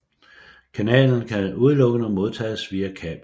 Kanalen kan udelukkende modtages via kabel